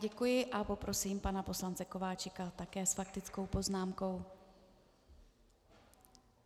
Děkuji a poprosím pana poslance Kováčika také s faktickou poznámkou.